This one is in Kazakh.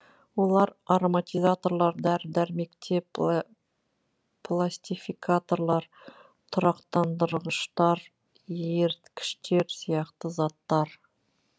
олар ароматизаторлар дәрі дәрмекте пластификаторлар тұрақтандырғыштар еріткіштер сияқты заттар